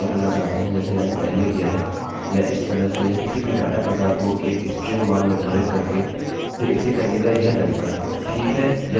लेकिन अगर आप इसे ऐसे इस्तेमाल करना चाहते हैं जैसे मैंने पहले किया है या इस तरह से या किसी भी डाटा प्रकार को एक स्ट्रिंग मान निर्धारित करके फिर इसे करने का यह तरीका है